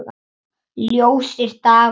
Ljósir dagar og nætur.